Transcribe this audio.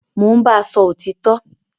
Mo n báa sọ òtítọ